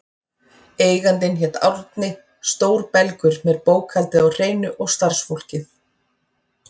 Eigandinn hét Árni, stór belgur með bókhaldið á hreinu og starfsfólkið.